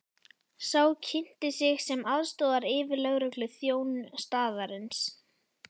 Sá kynnti sig sem aðstoðaryfirlögregluþjón staðarins.